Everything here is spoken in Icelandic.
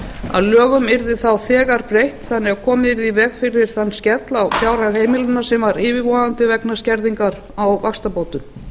að lögum yrði þá þegar breytt þannig að komið yrði í veg fyrir þann skell á fjárhæð heimilanna sem var yfirvofandi vegna skerðingar á vaxtabótum